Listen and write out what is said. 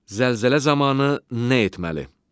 Zəlzələ zamanı nə etməli?